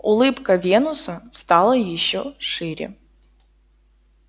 улыбка венуса стала ещё шире